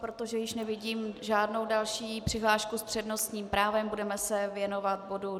Protože již nevidím žádnou další přihlášku s přednostním právem, budeme se věnovat bodu